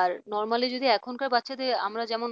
আর normally যদি এখনকার বাচ্চাদের আমরা যেমন